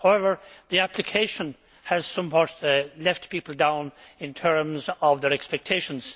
However, the application of the Fund has somewhat let people down in terms of their expectations.